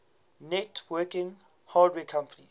networking hardware companies